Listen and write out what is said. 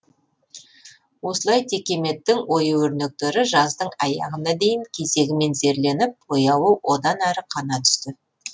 осылай текеметтің ою өрнектері жаздың аяғына дейін кезегімен зерленіп бояуы одан әрі қана түсті